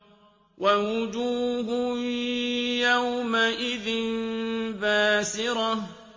وَوُجُوهٌ يَوْمَئِذٍ بَاسِرَةٌ